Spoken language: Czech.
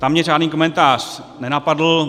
Tam mě žádný komentář nenapadl.